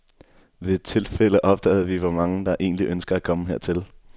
Ved et tilfælde opdagede vi, hvor mange der egentlig ønsker at komme hertil.